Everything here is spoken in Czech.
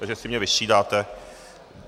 Tak jestli mě vystřídáte?